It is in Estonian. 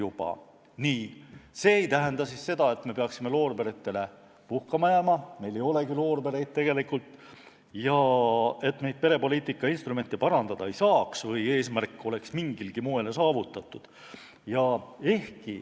Aga see ei tähenda seda, et me võiksime loorberitele puhkama jääda – meil ei olegi loorbereid tegelikult – ja et perepoliitika instrumente ei saaks parandada või et eesmärk on mingilgi moel saavutatud.